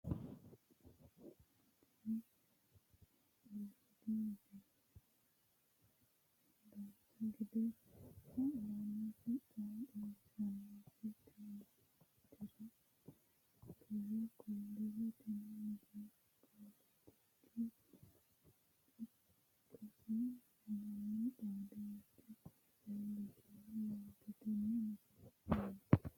tini aliidi misile dancha gede haa'nooniti maa xawissannoro tire kulliro tini misilepoletika ikkkasi mannu xaadoti leellishshanno yaaate tenne misile aana